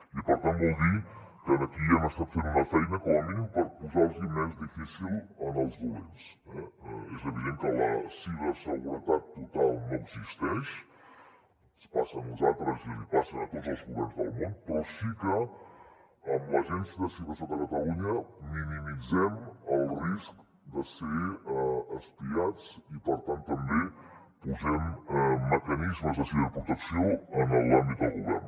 i per tant vol dir que aquí hem estat fent una feina com a mínim per posar los ho més difícil als dolents eh és evident que la ciberseguretat total no existeix ens passa a nosaltres i els passa a tots els governs del món però sí que amb l’agència de ciberseguretat de catalunya minimitzem el risc de ser espiats i per tant també posem mecanismes de ciberprotecció en l’àmbit del govern